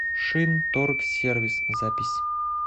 шинторгсервис запись